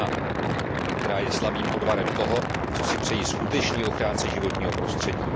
1, která je slabým odvarem toho, co si přejí skuteční ochránci životního prostředí.